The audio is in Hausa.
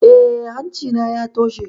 Eh, hanci na ya toshe